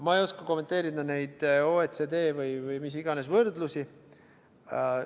Ma ei oska kommenteerida neid OECD või mis iganes võrdlusi.